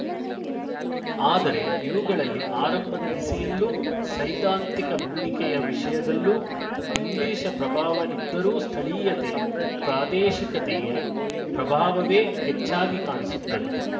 ಆದರೆ ಇವುಗಳಲ್ಲಿ ಆರಂಭದ ದಿಸೆಯಲ್ಲೂ ಸೈದ್ಧಾಂತಿಕ ಭೂಮಿಕೆಯ ವಿಷಯದಲ್ಲೂ ಇಂಗ್ಲಿಶ ಪ್ರಭಾವ ಇದ್ದರೂ ಸ್ಥಳೀಯತೆ ಪ್ರಾದೇಶಿಕತೆಯ ಪ್ರಭಾವವೇ ಹೆಚ್ಚಾಗಿ ಕಾಣಿಸುತ್ತದೆ